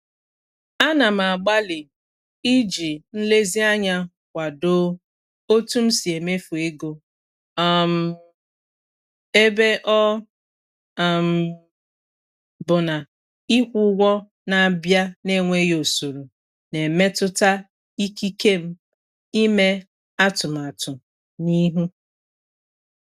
A na m agbalị iji nlezianya kwadoo otu m si-emefu ego um ebe ọ um bụ na ịkwụ ụgwọ na-abia na enweghi ụsọrọ na -emetụta ikike m ime atụmatụ n'ihu.